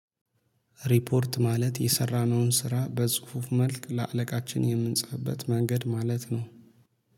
ሪፖርት ማለት የሰራነውን ስራ በጽሁፍ መልክ ለአለቃችን የምንጽፍበት መንገድ ማለት ነው